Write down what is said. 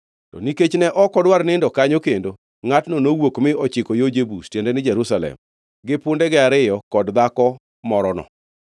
To nikech ne ok odwar nindo kanyo kendo, ngʼatno nowuok mi ochiko yo Jebus (tiende ni, Jerusalem), gi pundege ariyo kod dhako morono.